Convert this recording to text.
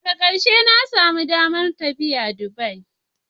Daga karshe na samu damar tafiya Dubai.